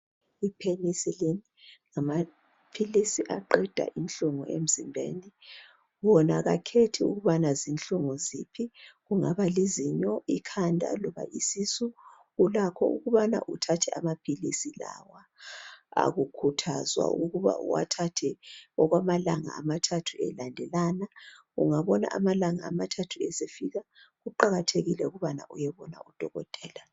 Ipenicilin ngama philisi aqeda inhlungu emzimbeni ,wona kakhethi ukubana zinhlungu ziphi. kungaba lizinyo ,ikhanda loba isisu, ulakho ukubana uthathe amaphilisi lawa. Akukhuthazwa ukuba uwathathe okwamalanga amathathu elandelana. Ungabona amalanga amathathu esefika, kuqakathekile ukubana uyebona udokotela.